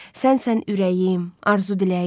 Sənsən ürəyim, arzu, diləyim.